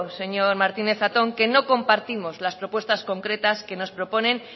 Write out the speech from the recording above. señor martínez zatón que no compartimos las propuestas concretas que nos proponen